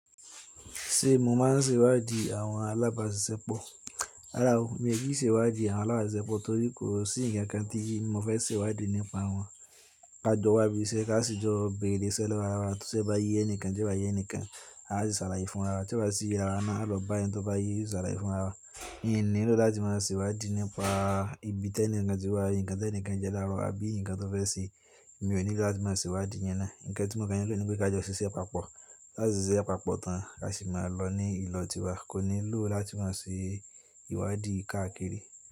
Ṣé mo máa ń ṣèwádìí àwọn alábàáṣiṣẹ́ pọ̀? Rárá o, mi ò kí ń ṣèwádìí àwọn alábàáṣiṣẹ́ pọ̀ torí kò sí ǹkan tí mo fẹ́ ṣèwádìí nípa wọn. Ka jọ wá bí iṣẹ́, ká sì jọ bẹ̀rẹ̀ iṣẹ́ lọ́wo arawá. Tísẹ bá ye ẹnìkan, tí kobá ye ẹnìkan, a sì ṣàlàyé fún arawa. Tí o bá ṣì ye arawa náà, a lọ bá ẹniti ó báye a o ṣàlàyé fún arawa. N nílò láti máa ṣèwádìí nípa ibi tẹ́ẹ̀ní ǹkan tí wà, ǹkan tí ẹnìkan jẹ́ láro àbí ǹkan tó fẹ́ ṣe. Mi ò nílò láti máa ṣèwádìí iyan náà. Ǹkán tí mo kàn nilò ní pé ká jọ ṣiṣẹ́ papọ̀. Láti ṣiṣẹ́ papọ̀ tán a sì máa lọ ní ìlọ̀ tí wa. Kò nílò láti máa ṣèwádìí káàkiri.